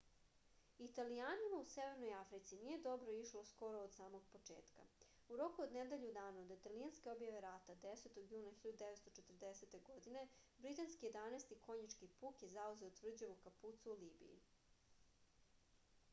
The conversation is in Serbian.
italijanima u severnoj africi nije dobro išlo skoro od samog početka u roku od nedelju dana od italijanske objave rata 10. juna 1940. godine britanski 11. konjički puk je zauzeo tvrđavu kapuco u libiji